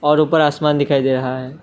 और ऊपर आसमान दिखाई दे रहा है।